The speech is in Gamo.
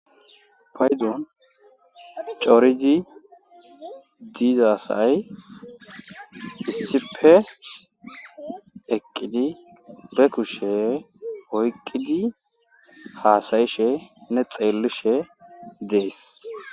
paydon cooridi diizasay hissipe eqqidi be kushshe oyqqidi haasayishe ne xeellishe dees